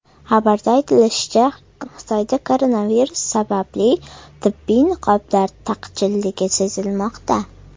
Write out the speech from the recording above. Xabarda aytilishicha, Xitoyda koronavirus sababli tibbiy niqoblar taqchilligi sezilmoqda.